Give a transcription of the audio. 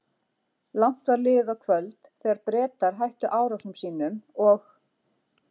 Langt var liðið á kvöld, þegar Bretar hættu árásum sínum og